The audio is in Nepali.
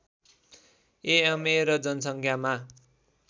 एमए र जनसङ्ख्यामा